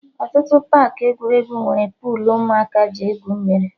Ọtụtụ paakị egwuregwu nwere puulu ụmụaka ji egwu mmiri